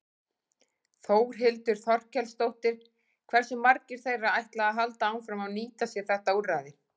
Þórhildur Þorkelsdóttir: Hversu margir þeirra ætla að halda áfram að nýta sér þetta úrræði?